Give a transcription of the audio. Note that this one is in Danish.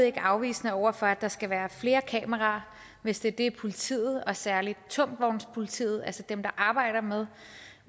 ikke afvisende over for at der skal være flere kameraer hvis det er det politiet og særligt tungvognspolitiet altså dem der arbejder med